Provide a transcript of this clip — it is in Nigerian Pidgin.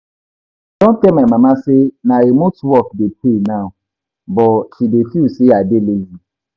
I don tell my mama say na remote work dey pay now but she dey feel say I dey lazy